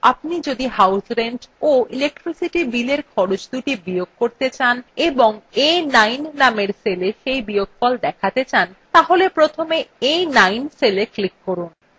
আপনি যদি house rent of electricity billএর খরচদুটি বিয়োগ করতে চান এবং a9 নামের cell cell বিয়োগফল দেখাতে চান তাহলে প্রথমে a9 cell click করুন